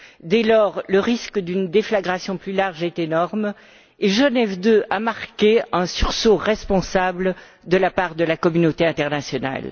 Dès lors, le risque d'une déflagration plus large est énorme mais Genève II a marqué un sursaut responsable de la part de la communauté internationale.